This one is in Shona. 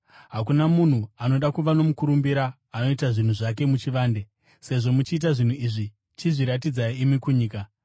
Hakuna munhu anoda kuva nomukurumbira anoita zvinhu zvake muchivande. Sezvo muchiita zvinhu izvi, chizviratidzai imi kunyika.”